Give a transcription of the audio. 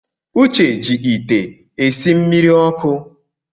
Uche ji ite esi mmiri ọkụ